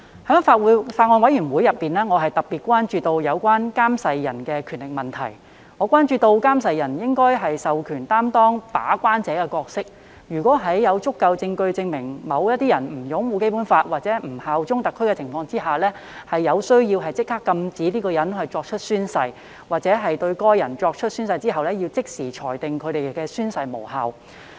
我在法案委員會中特別關注有關監誓人的權力問題，認為監誓人應獲授權擔當把關者的角色，在有足夠證據證明某人不擁護《基本法》和不效忠特區的情況下，有需要立即禁止該人作出宣誓，或在該人作出宣誓後即時裁定其宣誓無效。